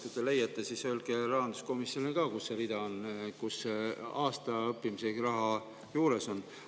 Kui te selle leiate, siis öelge rahanduskomisjonile ka, kus see rida on, kus see raha aasta jaoks on.